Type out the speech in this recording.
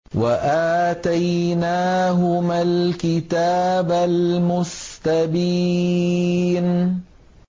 وَآتَيْنَاهُمَا الْكِتَابَ الْمُسْتَبِينَ